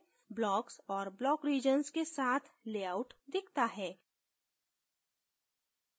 blocks और block regions के साथ layout दिखता है